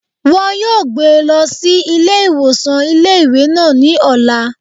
Wọn yóò gbé e lọ sí ilé ìwòsàn ilé ìwé náà ní ọ̀la